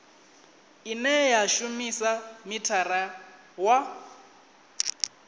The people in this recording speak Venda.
ine ya shumisa mithara wa